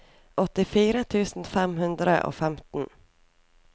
åttifire tusen fem hundre og femten